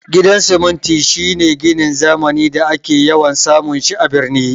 Gidan siminti shine ginin zamani da ake yawan samun shi a birni